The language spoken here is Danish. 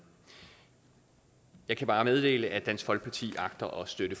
jeg kan bare meddele at dansk folkeparti agter at støtte